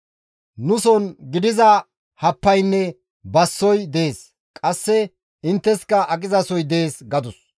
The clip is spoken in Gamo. Nuson gidiza happaynne bassoy dees; qasse intteska aqizasoy dees» gadus.